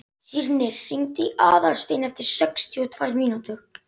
Sírnir, hringdu í Aðalstein eftir sextíu og tvær mínútur.